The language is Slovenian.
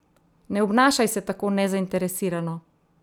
Ne obnašaj se tako nezainteresirano.